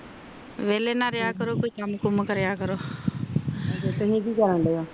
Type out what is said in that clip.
ਵਾਲੇ ਨਾ ਰਿਹਾ ਕਰੋ ਕੋਈ ਕਾਮ ਕੰਮ ਕਰਿਆ ਕਰੋ ਤੁਸੀਂ ਕਿ ਕਾਰਾਂਨਡਿਓ